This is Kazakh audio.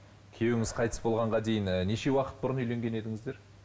күйеуіңіз қайтыс болғанға дейін і неше уақыт бұрын үйленген едіңіздер